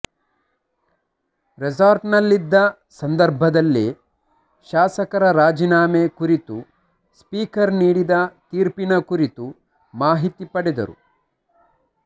ರೆಸಾರ್ಟ್ನಲ್ಲಿದ್ದ ಸಂದರ್ಭದಲ್ಲೇ ಶಾಸಕರ ರಾಜೀನಾಮೆ ಕುರಿತು ಸ್ಪೀಕರ್ ನೀಡಿದ ತೀರ್ಪಿನ ಕುರಿತು ಮಾಹಿತಿ ಪಡೆದರು